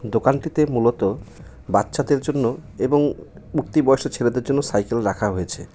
দোকানটিতে মূলত বাচ্চাদের জন্য এবং উঠতি বয়সের ছেলেদের জন্য সাইকেল রাখা হয়েছে।